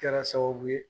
Kɛra sababu ye